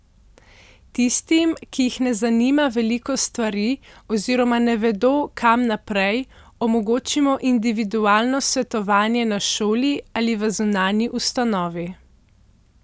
Tistim, ki jih ne zanima veliko stvari oziroma ne vedo, kam naprej, omogočimo individualno svetovanje na šoli ali v zunanji ustanovi.